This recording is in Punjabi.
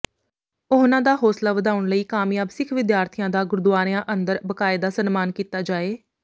ਉਹਨਾਂ ਦਾ ਹੌਸਲਾ ਵਧਾਉਣ ਲਈ ਕਾਮਿਆਬ ਸਿਖ ਵਿਦਿਆਰਥੀਆਂ ਦਾ ਗੁਰਦੁਆਰਿਆਂ ਅੰਦਰ ਬਾਕਾਇਦਾ ਸਨਮਾਨ ਕੀਤਾ ਜਾਏ